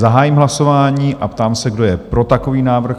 Zahájím hlasování a ptám se, kdo je pro takový návrh?